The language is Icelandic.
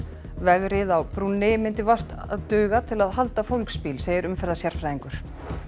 vegriðið á brúnni myndi vart halda fólksbíl segir umferðarsérfræðingur